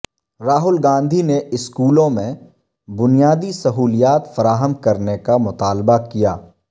راہل گاندھی نے اسکولوں میں بنیادی سہولیات فراہم کرنے کا مطالبہ کیا